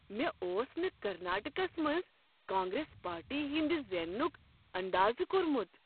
مےٚ اوس نہٕ کرناٹکس منٛز کانگریس پارٹی ہنٛد زیننُک اندازٕ کوٚرمُت۔